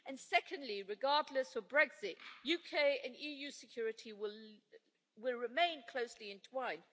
Secondly, regardless of Brexit, UK and EU security will remain closely entwined.